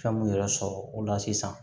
Fɛn mun yɛrɛ sɔrɔ o la sisan